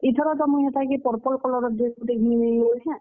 ଇଥର ତ ମୁଇଁ ହେତାକେ purple colour ର dress ଗୁଟେ ଘିନି ଦେମି ବଲୁଛେଁ।